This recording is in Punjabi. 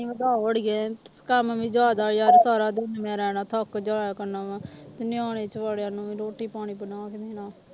ਵਧਾਓ ਆੜੀਏ ਕੰਮ ਵੀ ਜ਼ਿਆਦਾ ਯਾਰ ਸਾਰਾ ਦਿਨ ਮੈਂ ਰਹਿਣਾ ਥੱਕ ਜਾਇਆ ਕਰਨਾ ਮੈਂ ਤੇ ਨਿਆਣੇ ਨੂੰ ਵੀ ਰੋਟੀ ਪਾਣੀ ਬਣਾ ਕੇ ਦੇਣਾ